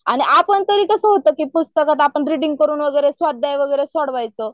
आणि आपण तरी कसं होतं की पुस्तकात अपण रिडींग करून वगैरे स्वाध्याय वगैरे सोडवायचं